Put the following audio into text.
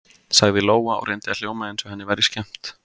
sagði Lóa og reyndi að hljóma eins og henni væri skemmt.